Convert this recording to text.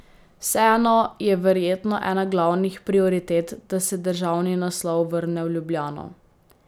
Vseeno je verjetno ena glavnih prioritet, da se državni naslov vrne v Ljubljano?